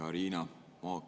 Hea Riina!